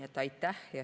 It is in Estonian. Aitäh!